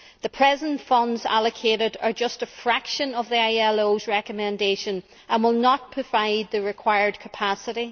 The present funds allocated are just a fraction of the ILO's recommendation and will not provide the required capacity.